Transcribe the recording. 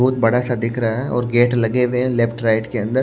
बहुत बड़ा सा दिख रहा है और गेट लगे हुए हैं लेफ्ट राइट के अंदर।